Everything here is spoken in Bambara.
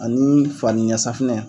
Ani faniyasafinɛ